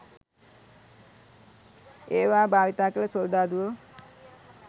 ඒවා භාවිතා කළ සොල්දාදුවෝ